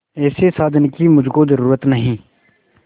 ऐसे साजन की मुझको जरूरत नहीं